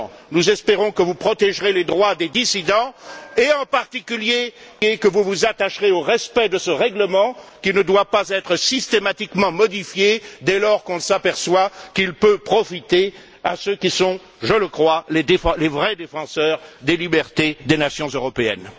Nous espérons que vous protégerez les droits des dissidents et, en particulier, que vous vous attacherez au respect de ce règlement qui ne doit pas être systématiquement modifié dès lors que l'on s'aperçoit qu'il peut profiter à ceux qui sont, je le crois, les vrais défenseurs des libertés des nations européennes.